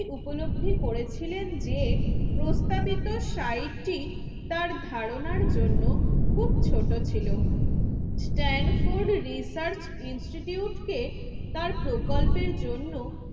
উপলব্ধি করেছিলেন যে প্রস্তাবিত সাইটটি তার ধারণার জন্য খুব ছোট ছিল। স্টান্ডফোর্ড রিসার্চ ইনস্টিটিউট কে তার প্রকল্পের জন্য